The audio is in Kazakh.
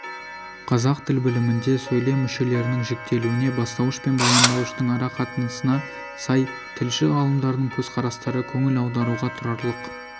қазақ тіл білімінде сөйлем мүшелерінің жіктелуіне бастауыш пен баяндауыштың ара қатысына сай тілші-ғалымдардың көзқарастары көңіл аударуға тұрарлық